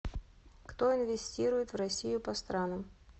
кто инвестирует в россию по странам